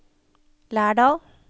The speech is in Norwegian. Lærdal